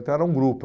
Então era um grupo.